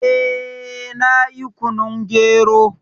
Eh, na yi kunun gero